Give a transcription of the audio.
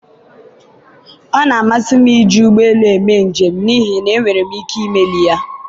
ọ na-amasị m iji ụgbọ elu eme njem n'ihi na enwere m ike imeli ya.